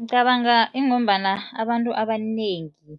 Ngicabanga ingombana abantu abanengi